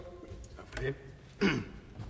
er